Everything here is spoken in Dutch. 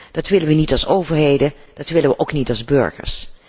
Dat willen we niet als overheden, dat willen we ook niet als burgers.